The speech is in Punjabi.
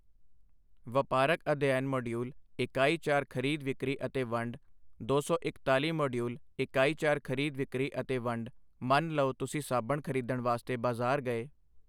ਵਪਾਰਕ ਅਧਿਐਨ ਮਾਡਿਊਲ ਇਕਾਈ ਚਾਰ ਖਰੀਦ ਵਿਕਰੀ ਅਤੇ ਵੰਡ ਦੋ ਸੌ ਇਕਤਾਲੀ ਮਾਡਿਊਲ ਇਕਾਈ ਚਾਰ ਖਰੀਦ ਵਿਕਰੀ ਅਤੇ ਵੰਡ ਮੰਨ ਲਓ ਤੁਸੀਂ ਸਾਬਣ ਖਰੀਦਣ ਵਾਸਤੇ ਬਾਜ਼ਾਰ ਗਏ।